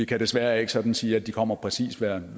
kan desværre ikke sådan sige at de kommer præcis hvert